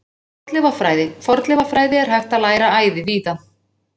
Fornleifafræði Fornleifafræði er hægt að læra æði víða.